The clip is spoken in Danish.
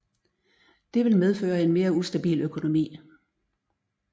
Det vil medføre en mere ustabil økonomi